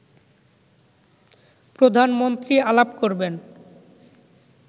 প্রধানমন্ত্রী আলাপ করবেন